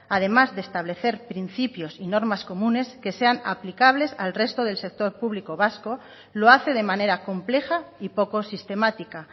además de establecer principios y normas comunes que sean aplicables al resto del sector público vasco lo hace de manera compleja y poco sistemática